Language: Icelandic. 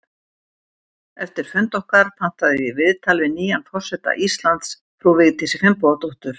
Eftir fund okkar pantaði ég viðtal við nýjan forseta Íslands, frú Vigdísi Finnbogadóttur.